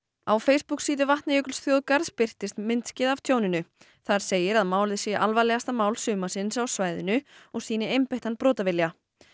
á Facebooksíðu Vatnajökulsþjóðgarðs birtist myndskeið af tjóninu þar segir að málið sé alvarlegasta mál sumarsins á svæðinu og sýni einbeittan brotavilja